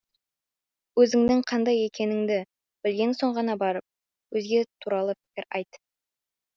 өзіңнің қандай екеніңді білген соң ғана барып өзге туралы пікір айт